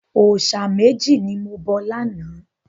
Òòṣà méjì ni mo bọ lánàá.